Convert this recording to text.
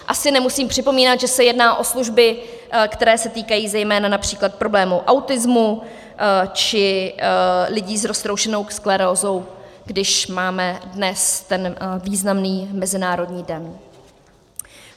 Asi nemusím připomínat, že se jedná o služby, které se týkají zejména například problémů autismu či lidí s roztroušenou sklerózou, když máme dnes ten významný mezinárodní den.